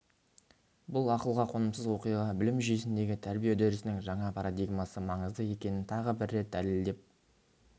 бұл ақылға қонымсыз оқиға білім жүйесіндегі тәрбие үдерісінің жаңа парадигмасы маңызды екенін тағы бір рет дәлелдеп